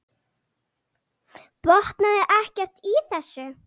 Botnaði ekkert í þessu.